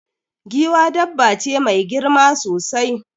Giwa dabba ce mai girma sosai.